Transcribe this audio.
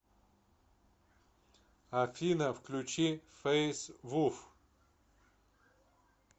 афина включи фэйс вуф